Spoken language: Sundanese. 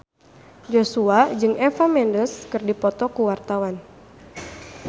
Joshua jeung Eva Mendes keur dipoto ku wartawan